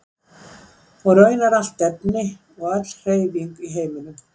Og raunar allt efni og öll hreyfing í heiminum.